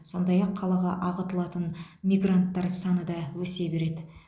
сондай ақ қалаға ағылатын мигранттар саны да өсе береді